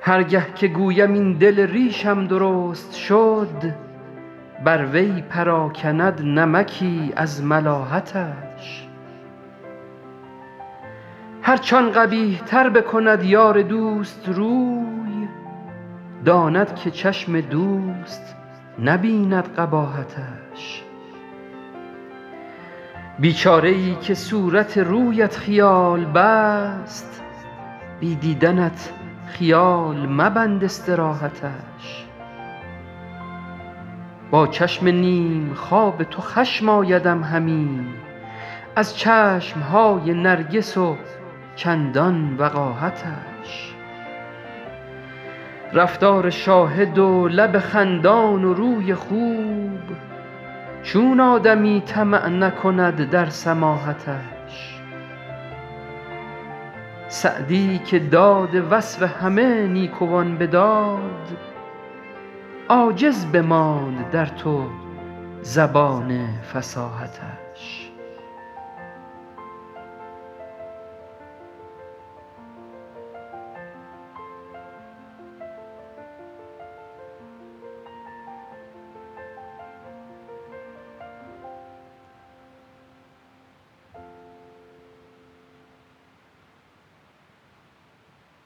هر گه که گویم این دل ریشم درست شد بر وی پراکند نمکی از ملاحتش هرچ آن قبیح تر بکند یار دوست روی داند که چشم دوست نبیند قباحتش بیچاره ای که صورت رویت خیال بست بی دیدنت خیال مبند استراحتش با چشم نیم خواب تو خشم آیدم همی از چشم های نرگس و چندان وقاحتش رفتار شاهد و لب خندان و روی خوب چون آدمی طمع نکند در سماحتش سعدی که داد وصف همه نیکوان به داد عاجز بماند در تو زبان فصاحتش